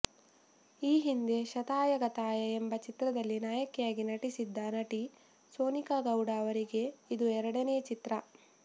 ಈ ಹಿಂದೆ ಶತಾಯ ಗತಾಯ ಎಂಬ ಚಿತ್ರದಲ್ಲಿ ನಾಯಕಿಯಾಗಿ ನಟಿಸಿದ್ದ ನಟಿ ಸೋನಿಕಾ ಗೌಡ ಅವರಿಗೆ ಇದು ಎರಡನೇ ಚಿತ್ರ